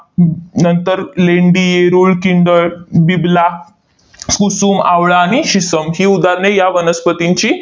नंतर लेंडी, रुळकिंदळ, बिबला, कुसुम, आवळा आणि शिसम ही उदाहरणे या वनस्पतींची